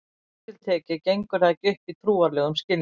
Strangt til tekið gengur það ekki upp í trúarlegum skilningi.